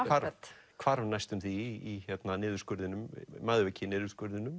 hvarf næstum því í